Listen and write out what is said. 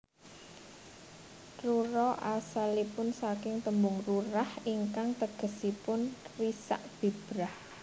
Rura asalipun saking tembung rurah ingkang tegesipun risak bibrah